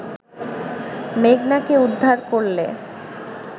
মেঘনাকে উদ্ধার করলে